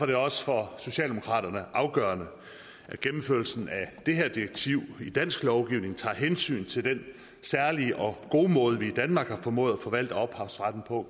det også for socialdemokraterne afgørende at gennemførelsen af det her direktiv i dansk lovgivning tager hensyn til den særlige og gode måde vi i danmark har formået at forvalte ophavsretten på